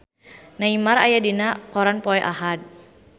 Neymar aya dina koran poe Ahad